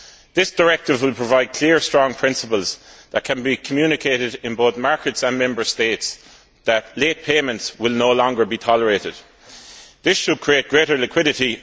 This directive will provide clear strong principles that can be communicated in markets and Member States to the effect that late payments will no longer be tolerated. This should create greater liquidity.